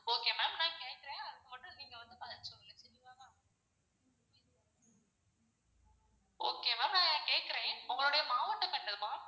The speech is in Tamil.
okay ma'am நான் கேக்குறன். அதுக்கு மட்டும் நீங்க வந்து பதில் சொல்லுங்க சரிங்கலாம்மா. okay ma'am நான் கேக்குறன் உங்களுடைய மாவட்டம் என்னது மா?